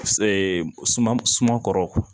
suman suman kɔrɔ